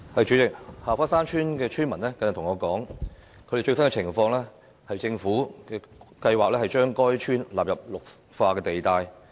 主席，下花山村村民跟我說他們的最新情況，政府計劃將該村納入綠化地帶。